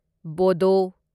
ꯕꯣꯗꯣ